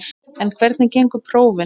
En hvernig gengu prófin?